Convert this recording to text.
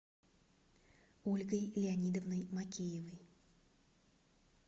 ольгой леонидовной макеевой